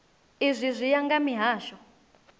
izwi zwi ya nga mihasho